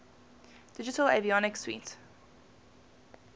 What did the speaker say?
digital avionics suite